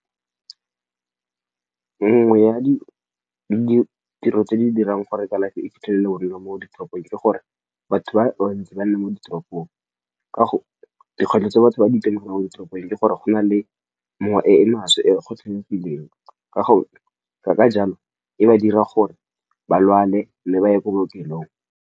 Nngwe ya ditiro tse di dirang gore kalafi e fitlhele go nna mo ditoropong ke gore batho ba ntse ba le mo ditoropong. Dikgwetlho tse batho ba di mo ditoropong ke gore go na le mowa e e maswe e kgothagileng. ka jalo, e ba dira gore ba lwale le ba ye ko bookelong.